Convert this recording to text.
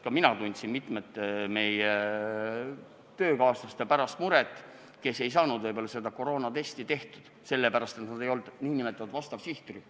Ka mina tundsin muret mitmete meie töökaaslaste pärast, kes ei saanud koroonatesti teha, sest nad ei kuulunud sihtrühma.